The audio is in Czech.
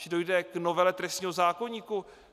Že dojde k novele trestního zákoníku?